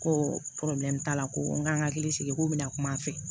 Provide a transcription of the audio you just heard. Ko t'a la ko n ka hakili sigi k'o bɛna kum'a fɛ